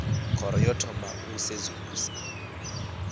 khoro yo thoma u sedzulusa